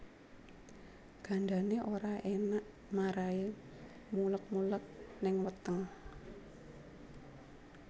Gandané ora enak marahi muleg muleg ning weteng